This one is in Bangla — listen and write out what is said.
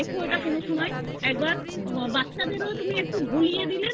তুমি দেখো ওটা কোনো সময় একবার বাচ্চার একটু ভুলিয়ে দিলে না ওঁরা খেতে